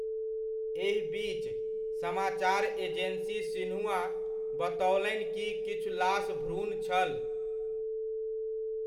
एहि बीच, समाचार एजेन्सी सिन्हुआ बतओलनि कि किछु लाश भ्रूण छल।